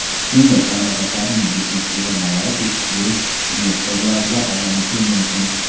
Kengash mamlakatlarining biznes-tuzilmalari ilk yirik investorlarga aylanishi mumkin.